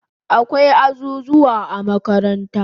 Akwai azuzuwa a makaranta